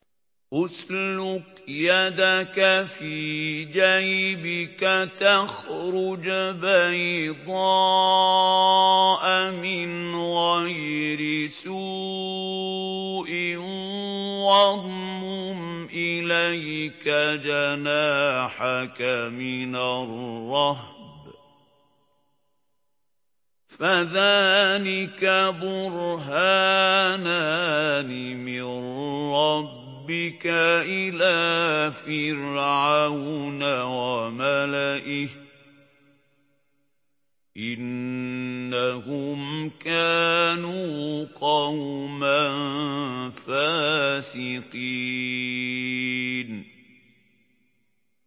اسْلُكْ يَدَكَ فِي جَيْبِكَ تَخْرُجْ بَيْضَاءَ مِنْ غَيْرِ سُوءٍ وَاضْمُمْ إِلَيْكَ جَنَاحَكَ مِنَ الرَّهْبِ ۖ فَذَانِكَ بُرْهَانَانِ مِن رَّبِّكَ إِلَىٰ فِرْعَوْنَ وَمَلَئِهِ ۚ إِنَّهُمْ كَانُوا قَوْمًا فَاسِقِينَ